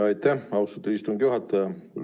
Aitäh, austatud istungi juhataja!